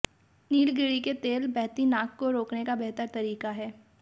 नीलगिरी के तेल बहती नाक को रोकने का बेहतर तरीका है